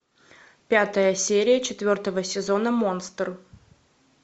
пятая серия четвертого сезона монстр